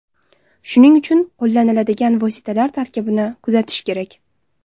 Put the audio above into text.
Shuning uchun qo‘llaniladigan vositalar tarkibini kuzatish kerak.